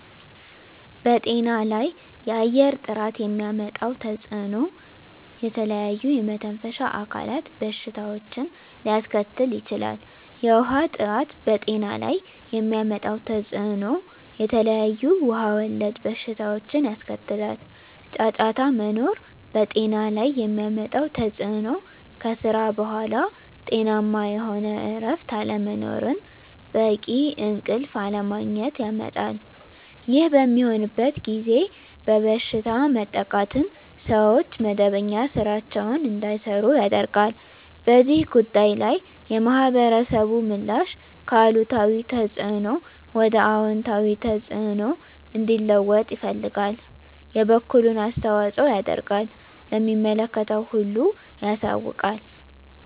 በጤና ላይ የአየር ጥራት የሚያመጣው ተፅዕኖ ለተለያዩ የመተንፈሻ አካል በሽታዎችን ሊያስከትል ይችላል። የውሀ ጥራት በጤና ላይ የሚያመጣው ተፅዕኖ የተለያዩ ውሀ ወለድ በሽታዎችን ያስከትላል። ጫጫታ መኖር በጤና ላይ የሚያመጣው ተፅዕኖ ከስራ በኃላ ጤናማ የሆነ እረፍት አለመኖርን በቂ እንቅልፍ አለማግኘት ያመጣል። ይህ በሚሆንበት ጊዜ በበሽታ መጠቃትን ሰዎች መደበኛ ስራቸዉን እንዳይሰሩ ያደርጋል። በዚህ ጉዳይ ላይ የማህበረሰቡ ምላሽ ከአሉታዊ ተፅዕኖ ወደ አወንታዊ ተፅዕኖ እንዲለወጥ ይፈልጋል የበኩሉን አስተዋፅኦ ያደርጋል ለሚመለከተው ሁሉ ያሳውቃል።